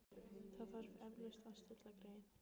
Það þarf eflaust að stilla greyið.